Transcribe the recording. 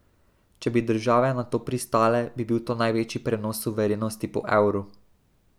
Če bi države na to pristale, bi bil to največji prenos suverenosti po evru.